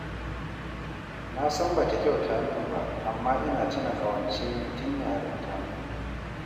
Na san ba ta kyauta min ba, amma ina tuna ƙawance ne tun yarinta